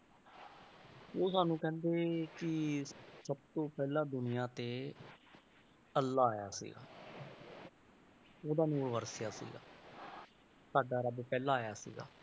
ਉਹ ਸਾਨੂੰ ਕਹਿੰਦੇ ਕਿ ਸਭ ਤੋਂ ਪਹਿਲਾਂ ਦੁਨੀਆਂ ਤੇ ਅੱਲਾਹ ਆਇਆ ਸੀਗਾ ਉਹਦਾ ਨੂਰ ਵਰਤਿਆ ਸੀਗਾ ਸਾਡਾ ਰੱਬ ਪਹਿਲਾਂ ਆਇਆ ਸੀਗਾ